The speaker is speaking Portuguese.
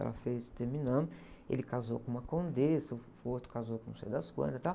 Ela fez, terminamos, ele casou com uma condessa, o outro casou com não sei das quantas e tal.